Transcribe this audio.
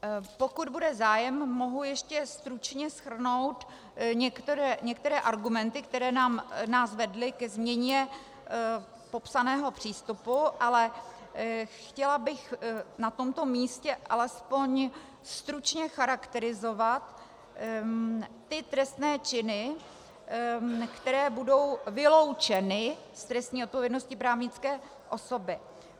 Pokud bude zájem, mohu ještě stručně shrnout některé argumenty, které nás vedly ke změně popsaného přístupu, ale chtěla bych na tomto místě alespoň stručně charakterizovat ty trestné činy, které budou vyloučeny z trestní odpovědnosti právnické osoby.